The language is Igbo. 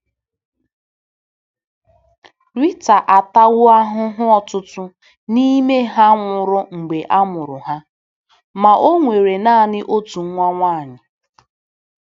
Rịta atawo ahụhụ ọtụtụ n'ime ha nwụrụ mgbe amụrụ ha, ma o nwere nanị otu nwa nwanyị.